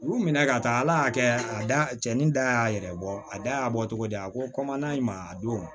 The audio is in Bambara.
U minɛ ka taa ala y'a kɛ a da cɛnin da y'a yɛrɛ bɔ a da y'a bɔ cogo di a ko ma a don